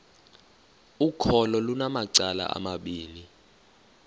ukholo lunamacala amabini